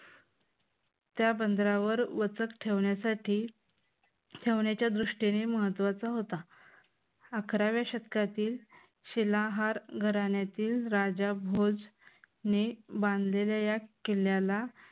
त्या बंदरावर वचत ठेवण्यासाठी ठेवण्याच्या दृष्टीने महत्त्वाचा होता. अकराव्या शतकातील शिलाहार घराण्यातील राजा भोज ने बांधलेल्या या किल्ल्याला